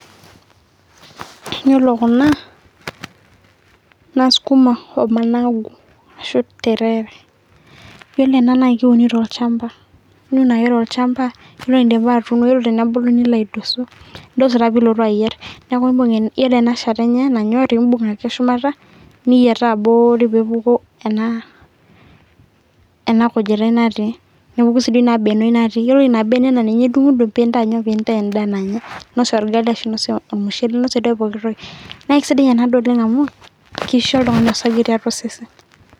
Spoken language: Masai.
ore kuna naa sukuma ashu ormomoi , ashu interere naa idim ake ninun tiang tolchamba naa ore pee ebulu neeku ilo ake nidosu , nigilu ake akiti naa idim ainosie orgali ashu entoki ake niyieu, naa kisidai amu keponiki oltung'ani orsage.